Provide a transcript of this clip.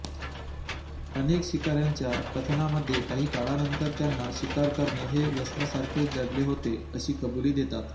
अनेक शिकाऱ्यांच्या कथनामध्ये काही काळानंतर त्यांना शिकार करणे हे व्यसनासारखेच जडले होते अशी कबुली देतात